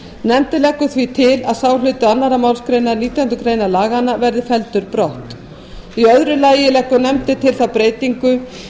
nefndin leggur því til að sá hluti annarrar málsgreinar nítjánda grein laganna verði felldur brott í öðru lagi leggur nefndin til þá breytingu